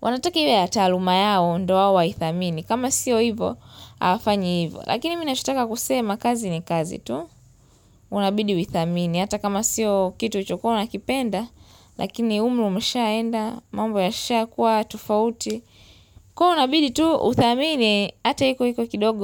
wanataka iwe ya taluma yao ndio wao waithamini. Kama sio hivo hafanyi hivo. Lakini mimi na chotaka kusema kazi ni kazi tu. Unabidi uithamini. Hata kama sio kitu ulichokuwa unakipenda. Lakini umri umeshaenda. Mambo yasha kuwa tofauti. Kwa hiyo unabidi tu uthamini hata iko kidogo.